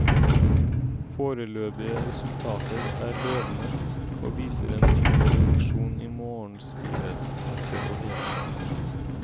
Foreløpige resultater er lovende, og viser en tydelig reduksjon i morgenstivhet, smerter og hevelse.